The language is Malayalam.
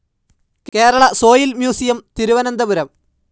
Kerala soil museum, Thiruvananthapuram